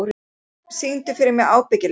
Víkingur, syngdu fyrir mig „Ábyggilega“.